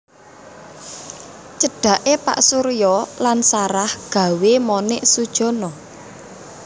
Cedhaké Pak Surya lan Sarah gawé Monik sujana